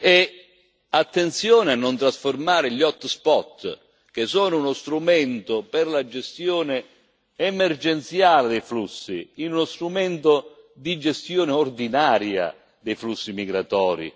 E attenzione a non trasformare gli hotspot che sono uno strumento per la gestione emergenziale dei flussi, in uno strumento di gestione ordinaria dei flussi migratori.